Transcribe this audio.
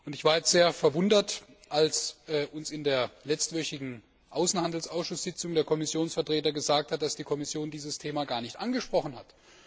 Ich war jetzt sehr verwundert, als uns in der letztwöchigen Außenhandelsausschusssitzung der Kommissionsvertreter gesagt hat, dass die Kommission dieses Thema gar nicht angesprochen hat.